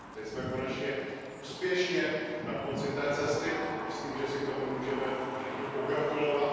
Teď jsme konečně úspěšně na konci té cesty, myslím, že si k tomu můžeme všichni pogratulovat.